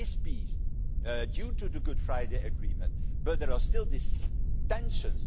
There is peace, due to the Good Friday Agreement, but there are still these tensions.